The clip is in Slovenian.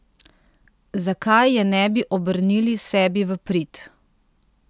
Zakaj je ne bi obrnili sebi v prid?